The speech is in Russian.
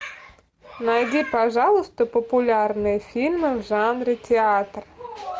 найди пожалуйста популярные фильмы в жанре театр